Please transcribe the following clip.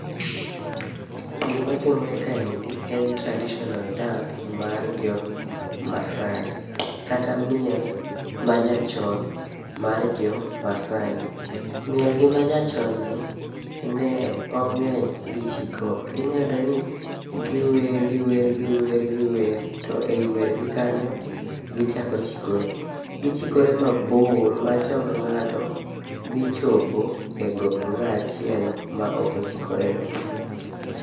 Gima timore kaendi, en traditional dance mar jo Masaai. Kata miel ma nyachon mar jo Masaai. Miel gi manyachon ni, ne ong'eny gi chikruok. Inyayudo ni giwer giwer giwer giwer, to ei wer gi kanyo, gichako chikore. Gichikore mabor ma chong ng'ato dhi chopo e gok ng'aachielo ma ok ochikore no.